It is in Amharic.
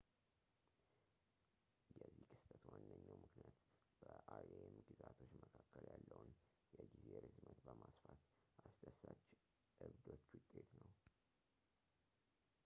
የዚህ ክስተት ዋነኛው ምክንያት በ rem ግዛቶች መካከል ያለውን የጊዜ ርዝመት በማስፋት አስደሳች ዕብዶች ውጤት ነው